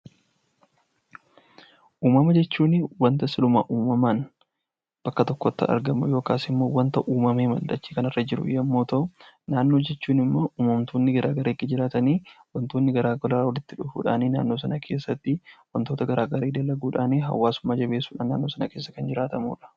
Umama jechuuni wanta siluma uumamaan bakka tokotti argamu yookaas immoo wanta uumamee dachee kanarra jiru yommuu ta'u; Naannoo jechuun immoo uumamtoonni gara garaa ergi jiraatanii, wantoonni gara garaa walitti dhufuu dhaan naannoo sana keessa tti wantoota gara garaa dalaguu dhaan, hawaasummaa jebeessuu dhaan, naannoo sana keessa kan jiraatamu dha.